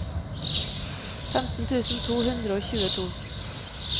femten tusen to hundre og tjueto